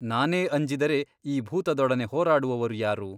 ನಾನೇ ಅಂಜಿದರೆ ಈ ಭೂತದೊಡನೆ ಹೋರಾಡುವವರು ಯಾರು ?